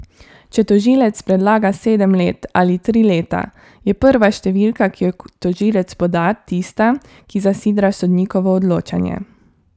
Če tožilec predlaga sedem let ali tri leta, je prva številka, ki jo tožilec poda, tista, ki zasidra sodnikovo odločanje.